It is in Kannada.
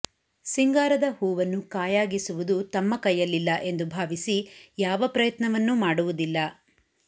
ಸಿಂಗಾರದ ಹೂವನ್ನು ಕಾಯಾಗಿಸುವುದು ತಮ್ಮ ಕೈಯಲ್ಲಿಲ್ಲ ಎಂದು ಭಾವಿಸಿ ಯಾವ ಪ್ರಯತ್ನವನ್ನೂ ಮಾಡುವುದಿಲ್ಲ